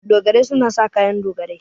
Dogarai suna sa kayan dogarai.